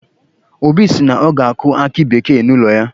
Obi si na ọ ga-akụ aki bekee n'ụlọ ya.